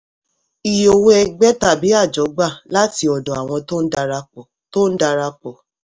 iye owó ẹgbẹ́ tàbí àjọ gbà láti ọdọ àwọn tó ń darapọ̀. tó ń darapọ̀.